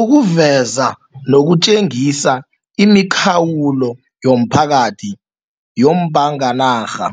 Ukuveza nokutjengisa imikhawulo yomphakathi yombanganarha,